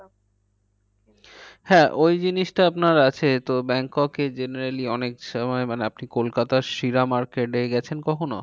হ্যাঁ ওই জিনিসটা আপনার আছে তো ব্যাংককে generally অনেক সময় মানে আপনি কলকাতার শিলা market এ গেছেন কখনো?